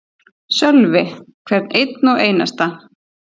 Sölvi: Hvern einn og einasta?